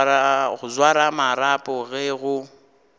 go swara marapo ge go